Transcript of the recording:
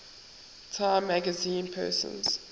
time magazine persons